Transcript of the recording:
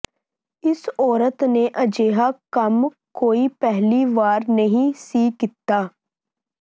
ਇਸ ਔਰਤ ਨੇ ਅਜਿਹਾ ਕੰਮ ਕੋਈ ਪਹਿਲੀ ਵਾਰ ਨਹੀਂ ਸੀ ਕੀਤਾ